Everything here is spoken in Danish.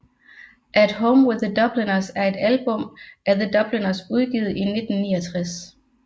At Home with The Dubliners er et album af The Dubliners udgivet i 1969